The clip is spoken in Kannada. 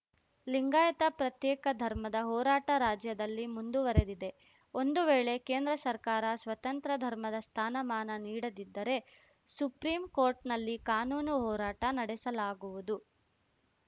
ಲಿಂಗಾಯತ ಪ್ರತ್ಯೇಕ ಧರ್ಮದ ಹೋರಾಟ ರಾಜ್ಯದಲ್ಲಿ ಮುಂದುವರಿದಿದೆ ಒಂದು ವೇಳೆ ಕೇಂದ್ರ ಸರ್ಕಾರ ಸ್ವತಂತ್ರ ಧರ್ಮದ ಸ್ಥಾನಮಾನ ನೀಡದಿದ್ದರೆ ಸುಪ್ರಿಂ ಕೋಟ್‌ರ್‍ನಲ್ಲಿ ಕಾನೂನು ಹೋರಾಟ ನಡೆಸಲಾಗುವುದು